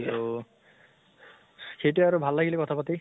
তহ সেইটোয়ে আৰু ভাল লাগিলে কথা পাতি